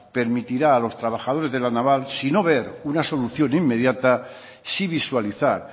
permitirá a los trabajadores de la naval si no ver una solución inmediata sí visualizar